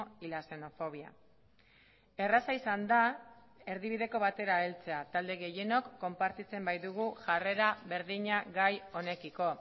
y la xenofobia erraza izan da erdibideko batera heltzea talde gehienok konpartitzen baitugu jarrera berdina gai honekiko